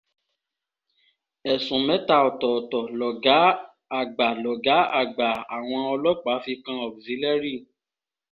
ẹ̀sùn mẹ́ta ọ̀tọ̀ọ̀tọ̀ lọ̀gá àgbà lọ̀gá àgbà àwọn ọlọ́pàá fi kan auxilliary